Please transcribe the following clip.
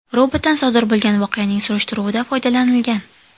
Robotdan sodir bo‘lgan voqeaning surishtiruvida foydalanilgan.